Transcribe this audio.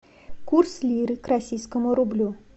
курс лиры к российскому рублю